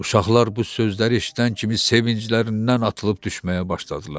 Uşaqlar bu sözləri eşidən kimi sevinclərindən atılıb düşməyə başladılar.